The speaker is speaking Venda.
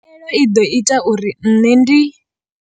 Khaelo i ḓo ita uri nṋe ndi.